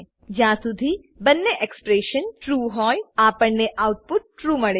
છે જ્યાર શુધી બંને એક્સપ્રેશનસ્ટ્રૂ હોય આપણને આઉટપુટ ટ્રૂ